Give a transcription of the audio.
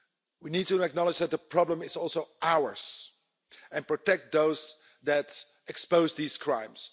We need to acknowledge that the problem is also ours, and to protect those that expose these crimes.